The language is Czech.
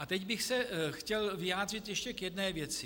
A teď bych se chtěl vyjádřit ještě k jedné věci.